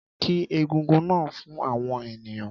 Kí egúngún náà fún àwọn ènìyàn